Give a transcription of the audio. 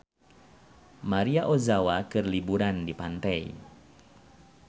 Maria Ozawa keur liburan di pantai